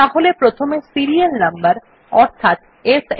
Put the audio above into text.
তাহলে প্রথমে serial number অর্থাৎ সান